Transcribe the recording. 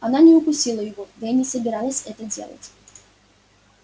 она не укусила его да и не собиралась это делать